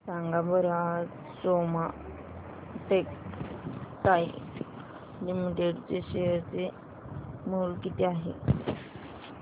सांगा बरं आज सोमा टेक्सटाइल लिमिटेड चे शेअर चे मूल्य किती आहे